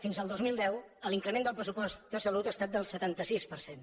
fins al dos mil deu l’increment del pressupost de sa·lut ha estat del setanta sis per cent